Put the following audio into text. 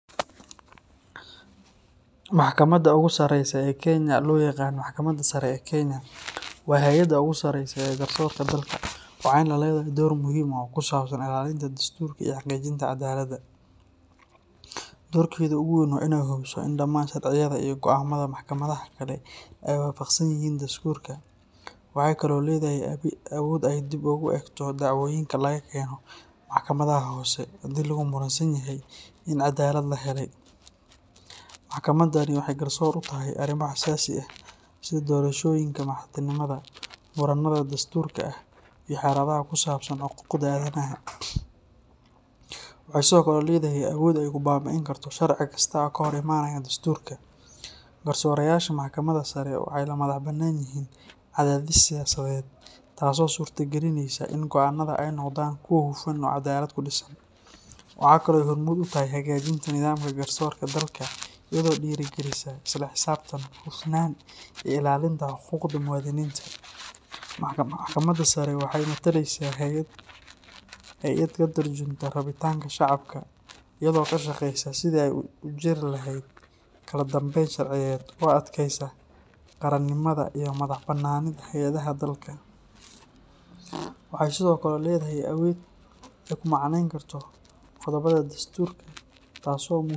Maxkamadda ugu sareysa ee Kenya, oo loo yaqaan Maxkamadda Sare ee Kenya, waa hay’adda ugu sarreysa ee garsoorka dalka, waxayna leedahay door muhiim ah oo ku saabsan ilaalinta dastuurka iyo xaqiijinta cadaaladda. Dorkeeda ugu weyn waa inay hubiso in dhammaan sharciyada iyo go’aamada maxkamadaha kale ay waafaqsan yihiin dastuurka. Waxay kaloo leedahay awood ay dib ugu eegto dacwooyinka laga keeno maxkamadaha hoose haddii lagu muransan yahay in cadaalad la helay. Maxkamaddani waxay garsoor u tahay arrimo xasaasi ah sida doorashooyinka madaxtinimada, muranada dastuuriga ah, iyo xaaladaha ku saabsan xuquuqda aadanaha. Waxay sidoo kale leedahay awood ay ku baabi’in karto sharci kasta oo ka hor imaanaya dastuurka. Garsoorayaasha Maxkamadda Sare waxay ka madax bannaan yihiin cadaadis siyaasadeed, taasoo suurtagelinaysa in go’aannadooda ay noqdaan kuwo hufan oo cadaalad ku dhisan. Waxa kale oo ay hormuud u tahay hagaajinta nidaamka garsoorka dalka iyadoo dhiirrigelisa isla xisaabtan, hufnaan, iyo ilaalinta xuquuqda muwaadiniinta. Maxkamadda Sare waxay mataleysaa hay’ad ka tarjunta rabitaanka shacabka iyadoo ka shaqeysa sidii ay u jiri lahayd kala dambeyn sharciyeed oo adkeysa qaranimada iyo madax bannaanida hay’adaha dalka. Waxay sidoo kale leedahay awood ay ku macneyn karto qodobbada dasturka, taasoo muhiim.